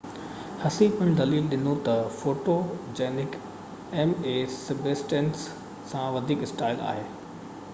هسي پڻ دليل ڏنو ته فوٽوجينڪ ايم اي سبسٽينس کان وڌيڪ اسٽائل آهي